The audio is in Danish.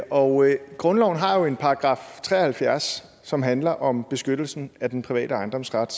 og grundloven har jo en § tre og halvfjerds som handler om beskyttelsen af den private ejendomsret